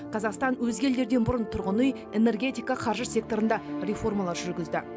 қазақстан өзге елдерден бұрын тұрғын үй энергетика қаржы секторында реформалар жүргізді